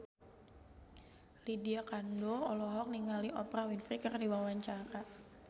Lydia Kandou olohok ningali Oprah Winfrey keur diwawancara